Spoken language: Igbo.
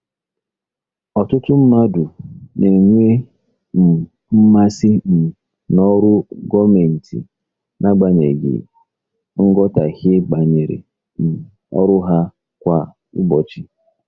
Ọtụtụ mmadụ na-enwe um mmasị um n'ọrụ gọọmentị n'agbanyeghị nghọtahie banyere um ọrụ ha kwa ụbọchị.